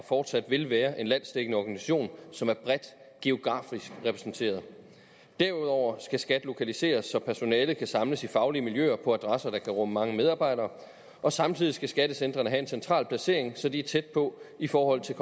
og fortsat vil være en landsdækkende organisation som er bredt geografisk repræsenteret derudover skal skat lokaliseres så personalet kan samles i faglige miljøer på adresser der kan rumme mange medarbejdere og samtidig skal skattecentrene have en central placering så de er tæt på i forhold til